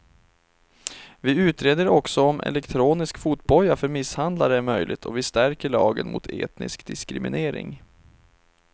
Vi utreder också om elektronisk fotboja för misshandlare är möjligt och vi stärker lagen mot etnisk diskriminering.